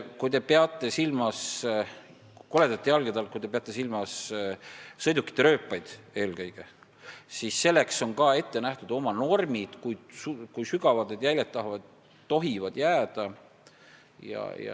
Kui te peate koledate jälgede all silmas eelkõige sõidukite tekitatud rööpaid, siis selleks on ka ette nähtud oma normid, kui sügavad need jäljed tohivad olla.